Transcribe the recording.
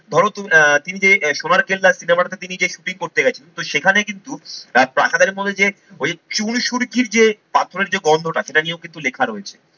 ধরো তুমি আহ তিন যে সোনার কেল্লা, সিনেমাটাতে তিনি যে shooting করতে গেছেন তো সেখানে কিন্তু প্রাসাদের মধ্যে যে ওই চুন সুরকির যে পাথরের যে গন্ধটা সেটা নিয়েও কিন্তু লেখা রয়েছে।